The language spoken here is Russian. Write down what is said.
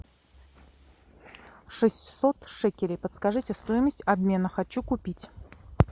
шестьсот шекелей подскажите стоимость обмена хочу купить